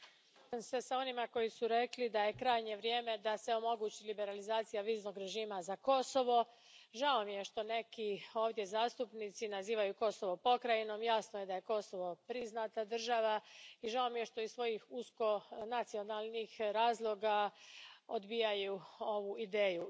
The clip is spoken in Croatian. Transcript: Poštovani predsjedavajući, slažem se s onima koji su rekli da je krajnje vrijeme da se omogući liberalizacija viznog režima za Kosovo. Žao mi je što neki ovdje zastupnici nazivaju Kosovo pokrajinom, jasno je da je Kosovo priznata država i žao mi je što iz svojih usko nacionalnih razloga odbijaju ovu ideju.